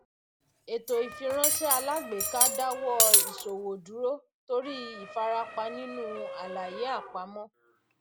ètò ìfiránṣé alágbèéká dáwọ ìṣòwò dúró torí ìfarapa nínú àlàyé àpamọ